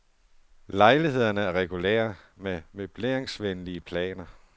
Lejlighederne er regulære med møbleringsvenlige planer.